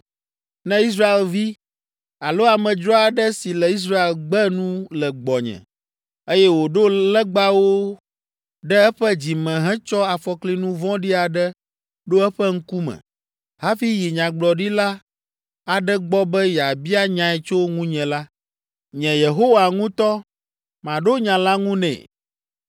“ ‘Ne Israelvi alo amedzro aɖe si le Israel gbe nu le gbɔnye, eye wòɖo legbawo ɖe eƒe dzi me hetsɔ afɔklinu vɔ̃ɖi aɖe ɖo eƒe ŋkume hafi yi nyagblɔɖila aɖe gbɔ be yeabia nyae tso ŋunye la, nye Yehowa ŋutɔ, maɖo nya la ŋu nɛ.